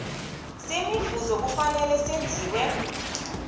semivuzo kufanele senziwe